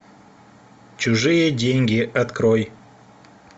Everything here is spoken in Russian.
чужие деньги открой